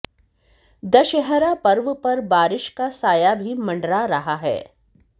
दशहरा पर्व पर बारिश का साया भी मंडरा रहा है